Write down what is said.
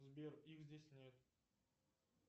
сбер их здесь нет